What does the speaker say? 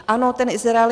Ano, ten Izrael.